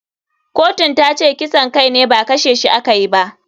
Kotun tace kisan kai ne ba kashe shi a kayi ba.